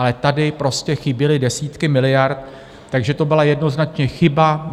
Ale tady prostě chyběly desítky miliard, takže to byla jednoznačně chyba.